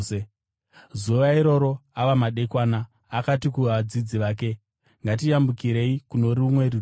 Zuva iroro ava madekwana, akati kuvadzidzi vake, “Ngatiyambukirei kuno rumwe rutivi.”